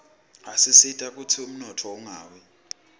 asisita kutsi umnotfo ungawi